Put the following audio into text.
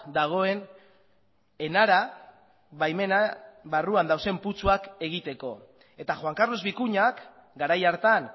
dagoen enara baimena barruan dauden putzuak egiteko eta juan carlos vicuñak garai hartan